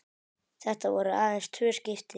Þetta voru aðeins tvö skipti.